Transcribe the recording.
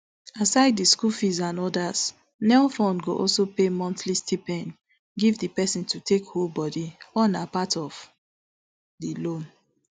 asides di school fees and odas nelfund go also pay monthly stipend give di pesin to take hold body all na part of di loan